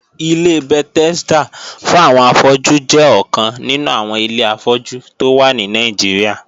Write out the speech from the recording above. Ilé Bethesda fún àwọn afọ́jú jẹ́ ọkàn nínú àwọn ilé afọ́jú tó wà ní Nàìjíríà